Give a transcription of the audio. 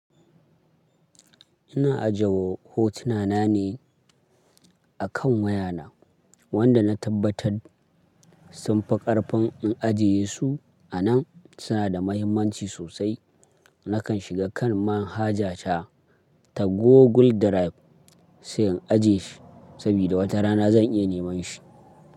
Ina ajiye hotuna na ne akan wayana wanda na tabbatar sunfi ƙarfin in ajiye su a nan suna da mahimmanci sosai. Nakan shiga kan manhaja ta Google Drive sai in ajiye shi sabida wata rana zan iya neman shi.